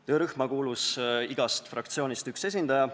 Töörühma kuulus igast fraktsioonist üks esindaja.